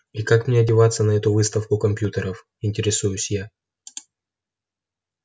и как мне одеваться на эту выставку компьютеров интересуюсь я